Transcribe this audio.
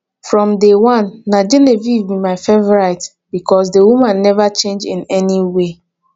from day one na genevieve be my favourite because the woman never change in any way